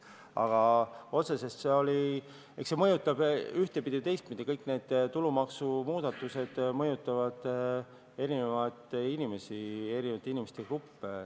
Aga eks see mõjutab ühtepidi ja teistpidi, kõik need tulumaksumuudatused mõjutavad eri inimesi, erinevaid inimeste gruppe.